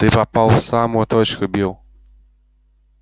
ты попал в самую точку билл